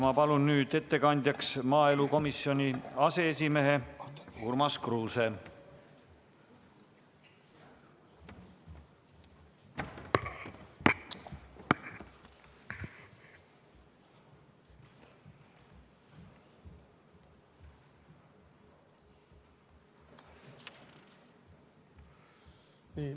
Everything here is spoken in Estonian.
Ma palun nüüd ettekandjaks maaelukomisjoni aseesimehe Urmas Kruuse.